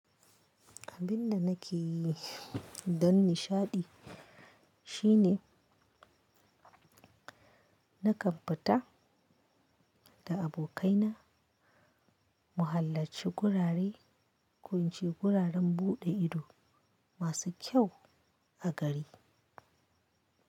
Abin da nake yi don nishaɗi shine na tabbata da abokaina mu halarci gurare, ko in ce guraren buɗe ido masu kyau a gari.